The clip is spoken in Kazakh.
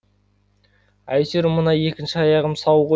әйтеуір мына екінші аяғым сау ғой